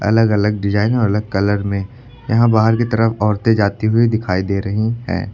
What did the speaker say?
अलग अलग डिजाइन और अलग कलर में यहां बाहर की तरफ औरतें जाती हुई दिखाई दे रही हैं।